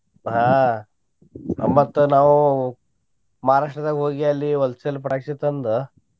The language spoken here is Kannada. ಆಹ್ ಮತ್ತ ನಾವು Maharashtra ದಾಗ ಹೋಗಿ ಅಲ್ಲಿ wholesale ಪಟಾಕ್ಷಿ ತಂದ.